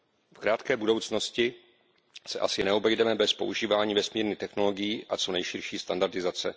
V krátké budoucnosti se asi neobejdeme bez používání vesmírných technologií a co nejširší standardizace.